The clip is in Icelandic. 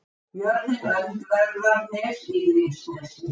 Jörðin Öndverðarnes í Grímsnesi.